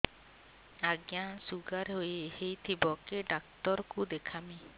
ଆଜ୍ଞା ଶୁଗାର ହେଇଥିବ କେ ଡାକ୍ତର କୁ ଦେଖାମି